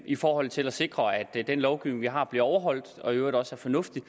i forhold til at sikre at den lovgivning vi har bliver overholdt og i øvrigt også er fornuftig